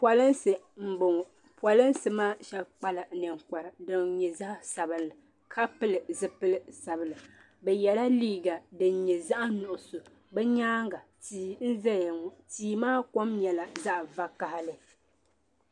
Polinsi mbɔŋɔ polinsi maa shɛb kpala ninkpara din nyɛ zaɣi sabinli ka pili zupili sabinli bɛ yɛla liiga din nyɛ zaɣi nuɣiso bɛ nyanga tii nzaya ŋɔ tii maa kom nyɛla zaɣi vakahali.